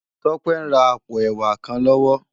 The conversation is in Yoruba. Tope n rá àpó èwá kán lòwò